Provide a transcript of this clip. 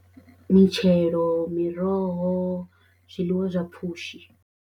Mitshelo, miroho, zwiḽiwa zwa pfhushi.